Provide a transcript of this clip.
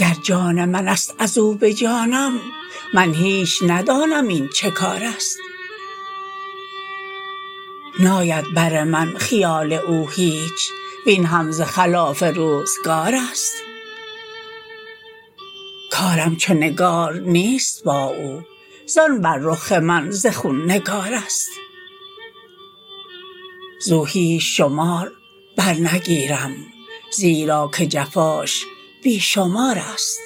گر جان منست ازو به جانم من هیچ ندانم این چکارست ناید بر من خیال او هیچ وین هم ز خلاف روزگارست کارم چو نگار نیست با او زان بر رخ من ز خون نگارست زو هیچ شمار برنگیرم زیرا که جفاش بی شمارست